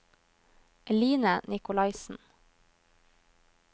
Eline Nikolaisen